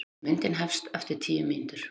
Myndin hefst eftir tíu mínútur.